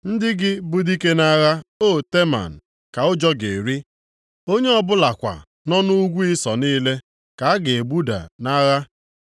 Ndị gị bụ dike nʼagha, o Teman, ka ụjọ ga-eri. Onye ọbụlakwa nọ nʼugwu Ịsọ niile, ka a ga-egbuda nʼagha.